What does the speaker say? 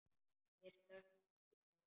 Mér stökk ekki bros.